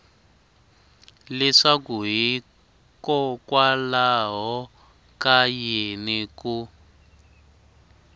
leswaku hikokwalaho ka yini ku